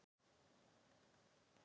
Orðið ristavél kemur þar ekki fyrir.